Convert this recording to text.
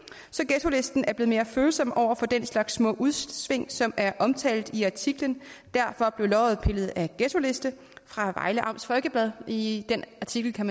så ghettolisten er blevet mere følsom over for den slags små udsving som er omtalt i artiklen derfor blev løget pillet af ghettoliste fra vejle amts folkeblad i den artikel kan